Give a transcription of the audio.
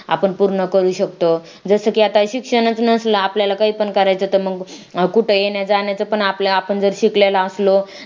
आपण पूर्ण करू शकतो जसं की आता आपल्याला काही पण करायचं तर मग कुठे येण्या जाण्याचा पण आपल्या आपण जर शिकलेला असलो